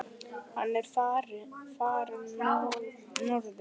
Hann er farinn norður.